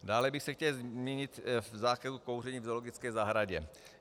Dále bych se chtěl zmínit o zákazu kouření v zoologické zahradě.